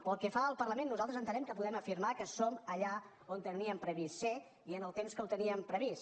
pel que fa al parlament nosaltres entenem que podem afirmar que som allà on teníem previst ser i en el temps que ho teníem previst